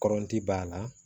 Kɔrɔnti b'a la